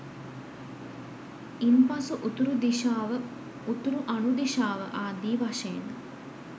ඉන්පසු උතුරු දිශාව උතුරු අනුදිශාව ආදී වශයෙන්